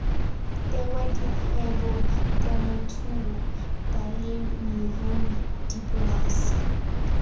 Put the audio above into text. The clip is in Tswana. tewa dikgwebo temothuo balemirui dipolase